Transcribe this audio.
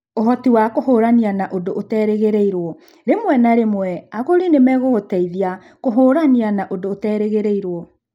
Ũhoti wa kũhiũrania na ũndũ ũterĩgĩrĩirũo: Rĩmwe na rĩmwe, agũri nĩ mekũgũteithia kũhiũrania na ũndũ ũterĩgĩrĩirũo.